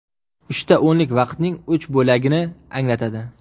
Uchta o‘nlik vaqtning uch bo‘lagini anglatadi.